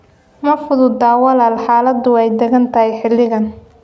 Ma fududa walaal, xaaladdu way adag tahay xilligan.